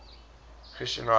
christian writers